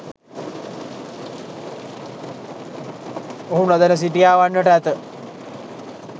ඔහු නොදැන සිටියා වන්නට ඇත.